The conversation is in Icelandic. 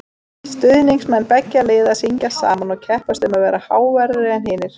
Stuðningsmenn beggja liða syngja saman og keppast um að vera háværari en hinn.